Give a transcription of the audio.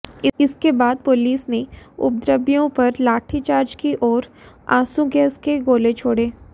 इसके बाद पुलिस ने उपद्रवियों पर लाठी चार्ज की और आंसू गैस के गोले छोड़े